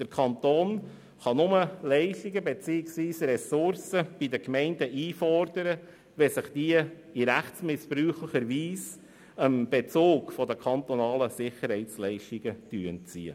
Der Kanton kann nur Leistungen beziehungsweise Ressourcen bei den Gemeinden einfordern, wenn sich diese in rechtsmissbräuchlicher Weise dem Bezug der kantonalen Sicherheitsleistungen entziehen.